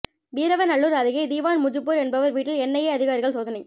வீரவநல்லூர் அருகே திவான் முஜிபுர் என்பவர் வீட்டில் என்ஐஏ அதிகாரிகள் சோதனை